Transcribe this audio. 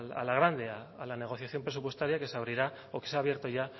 a la negociación presupuestaria que se abrirá o que se ha abierto ya